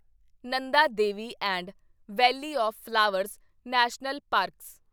Nanda Devi and valley of flowers national parks